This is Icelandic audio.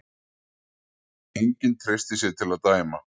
enginn treysti sér til að dæma